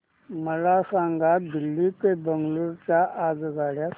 मला दिल्ली ते बंगळूरू च्या आगगाडया सांगा